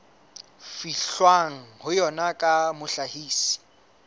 fihlwang ho yona ya mohlahisi